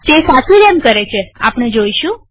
તે સાચે એમ કરે છેઆપણે જોઈશું